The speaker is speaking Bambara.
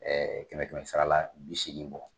Ɛɛ kɛmɛ kɛmɛ sara la bi seegin bɔ.